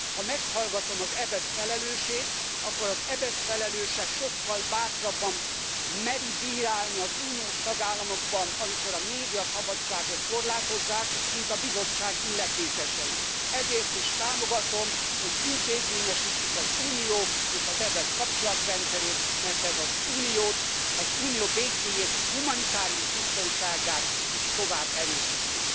Ha meghallgatom az EBESZ felelősét, akkor az EBESZ felelőse sokkal bátrabban meri bírálni az Uniós tagállamokat, amikor a médiaszabadságot korlátozzák, mint a Bizottság illetékesei. Ezért is támogatom, hogy intézményesítsük az Unió és az EBESZ kapcsolatrendszerét, mert ez az Uniót, az Unió békéjét, humanitárius biztonságát is tovább erősíti.